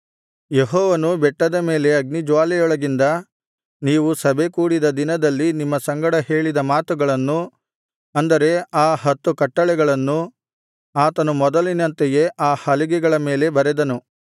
ಯೆಹೋವನು ಬೆಟ್ಟದ ಮೇಲೆ ಅಗ್ನಿಜ್ವಾಲೆಯೊಳಗಿಂದ ನೀವು ಸಭೆ ಕೂಡಿದ ದಿನದಲ್ಲಿ ನಿಮ್ಮ ಸಂಗಡ ಹೇಳಿದ ಮಾತುಗಳನ್ನು ಅಂದರೆ ಆ ಹತ್ತು ಕಟ್ಟಳೆಗಳನ್ನು ಆತನು ಮೊದಲಿನಂತೆಯೇ ಆ ಹಲಿಗೆಗಳ ಮೇಲೆ ಬರೆದನು